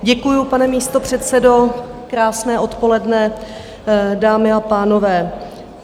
Děkuji, pane místopředsedo, krásné odpoledne, dámy a pánové.